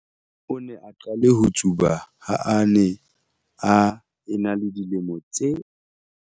O ne a qale ho tsuba ha a ne a ena le dilemo tse.